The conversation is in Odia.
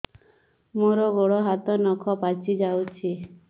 ମୋର ଗୋଡ଼ ହାତ ନଖ ପାଚି ଯାଉଛି